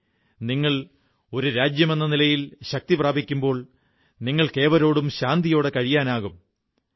അതുപോലെ നിങ്ങൾ ഒരു രാജ്യമെന്ന നിലയിൽ ശക്തി പ്രാപിക്കുമ്പോൾ നിങ്ങൾക്കേവരോടും ശാന്തിയോടെ കഴിയാനുമാകും